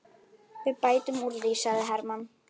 Við bætum úr því, sagði Hermann.